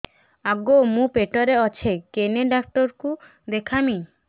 ଆଗୋ ମୁଁ ପେଟରେ ଅଛେ କେନ୍ ଡାକ୍ତର କୁ ଦେଖାମି